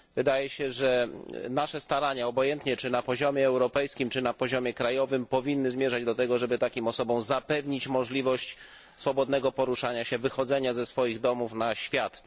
Wydaje się, że nasze starania, obojętnie czy na poziomie europejskim, czy na poziomie krajowym, powinny zmierzać do tego, żeby takim osobom zapewnić możliwość swobodnego poruszania się, wychodzenia z domów na świat.